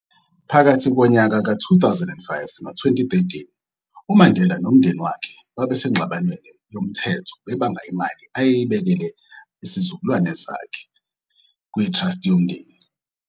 Phakathi konyaka ka 2005 no-2013, uMandela nomndeni wakhe babesengxabanweni yomthetho bebanga imali ayeyibekele izizukulwana zakhe, kwi-trust yomndeni.